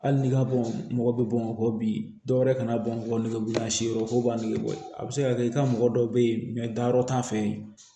Hali n'i ka bɔn mɔgɔ bɛ bɔn bi dɔwɛrɛ kana bɔ nɛgɛberela si yɔrɔ fɔ u b'a nɛgɛ bɔ a bɛ se ka kɛ i ka mɔgɔ dɔw bɛ ye danyɔrɔ t'an fɛ yen